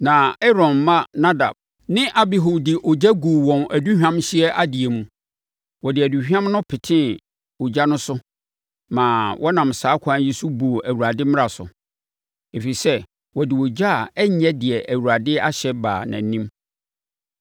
Na Aaron mma Nadab ne Abihu de ogya guu wɔn aduhwamhyeɛ adeɛ mu. Wɔde aduhwam no petee ogya no so ma wɔnam saa ɛkwan yi so buu Awurade mmara so, ɛfiri sɛ wɔde ogya a ɛnyɛ deɛ Awurade ahyɛ baa nʼanim.